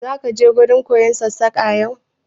Za ki wurin koyon Sassaƙa yau?